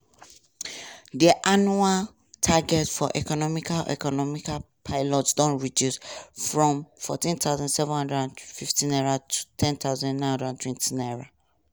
di annual target for economic economic pilots don reduce from 14750 to 10920.